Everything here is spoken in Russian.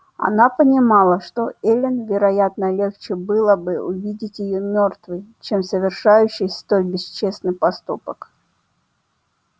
она понимала что эллин вероятно легче было бы увидеть её мёртвой чем совершающей столь бесчестный поступок